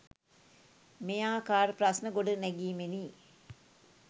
මෙයාකාර ප්‍රශ්න ගොඩනැගීමෙනි.